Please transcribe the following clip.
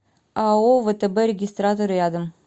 ао втб регистратор рядом